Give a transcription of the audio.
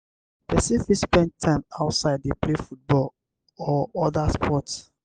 person fit spend time outside dey play football or oda sports